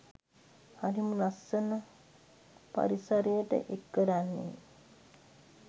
හරිම ලස්සනක් පරිසරයට එක් කරන්නේ.